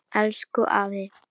Elsku afi.